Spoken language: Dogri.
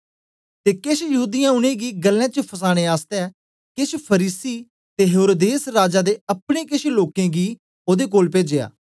ते केश यहूदीयें उनेंगी गल्लें च फसाने आसतै केछ फरीसी ते हेरोदेस राजा दे अपने केश लोकें गी ओदे कोल पेजेया